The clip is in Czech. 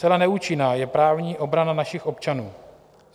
Zcela neúčinná je právní obrana našich občanů.